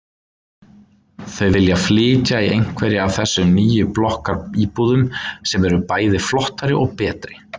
Þau vilja flytja í einhverja af þessum nýju blokkaríbúðum sem eru bæði flottari og betri.